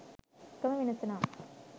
එකම වෙනස නම්